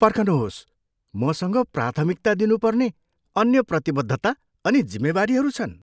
पर्खनुहोस्, मसँग प्राथमिकता दिनुपर्ने अन्य प्रतिबद्धता अनि जिम्मेवारीहरू छन्।